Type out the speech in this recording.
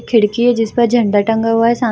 खिड़की है जिसका झण्डा टंगा हुआ है साम --